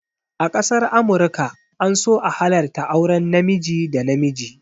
A ƙasar amurka an so a halarta auren namiji da namiji